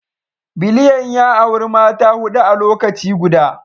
Biliyan ya auri Mata hudu a lokaci guda